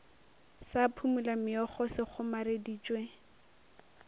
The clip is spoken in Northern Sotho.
sa phumula meokgo se kgomareditšwe